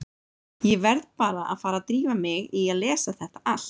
Ég verð bara að fara að drífa mig í að lesa þetta allt.